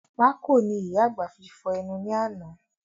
Pákò ni ìyá àgbà fi fọ̀ ẹnu ni àná